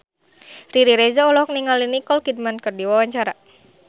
Riri Reza olohok ningali Nicole Kidman keur diwawancara